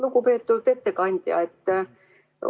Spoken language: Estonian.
Lugupeetud ettekandja!